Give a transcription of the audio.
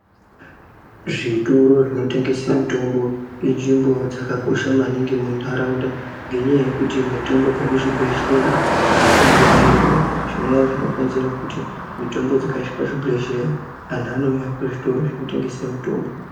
Zvitoro zvinotengesa mutombo inzvimbo dzakakosha maningi munharaunda. Ngenyaya yekuti mitombo dzekuzvibhendleya adzirambi dziriyo. Zvinova zvinokonzera kuti mitombo dzikashaikwa muzvibhedhleya vanouya kuzvitoro zvinotengesa mitombo.